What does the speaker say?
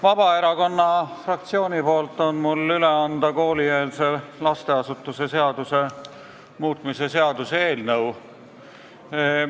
Mul on Vabaerakonna fraktsiooni nimel üle anda koolieelse lasteasutuse seaduse muutmise seaduse eelnõu.